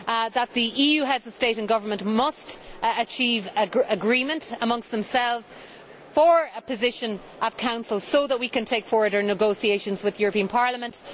that the EU Heads of State and Government must achieve agreement amongst themselves for a position in the Council so that we can take forward our negotiations with the European Parliament.